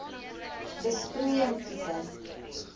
besproeiing tipe